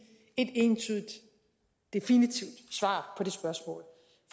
et entydigt definitivt svar